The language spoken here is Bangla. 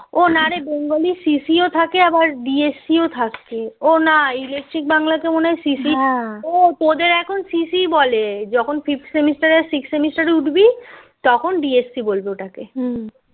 ও না রে bengali CCO থেকে আবার dsc ও থাকে ও না electric বাংলাতে মনে হয় ও তোদের এখন সিসি বলে যখন sixth সেমিস্টারে উঠবি তখন DSC বলবে